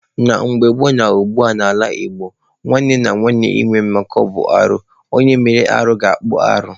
Na mgbe gboo ma ugbua n'ala Igbo, nwanne na nwanne ịnwe mmekọ bụ arụ. Onye mere arụ ga-akpụ arụ.